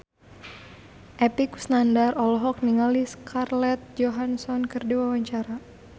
Epy Kusnandar olohok ningali Scarlett Johansson keur diwawancara